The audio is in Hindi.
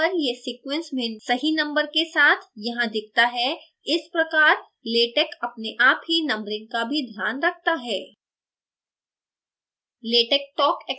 कम्पाइल करने पर यह sequence में सही number के साथ यहाँ दिखता है इस प्रकार latex अपने आप ही numbering का भी ध्यान रखता है